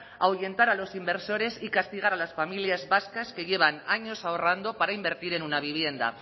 ahuyentar a los inversores y castigar a las familias vascas que llevan años ahorrando para invertir en una vivienda